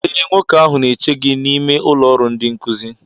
ee, nwoke ahụ na-eche gị n'ime ụlọ ọrụ ndịnkuzi